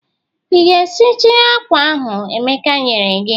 Ị ga-esiji akwa ahụ Emeka nyere gị?